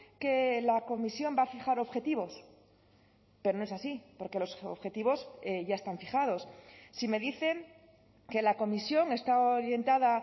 que la comisión va a fijar objetivos pero no es así porque los objetivos ya están fijados si me dicen que la comisión está orientada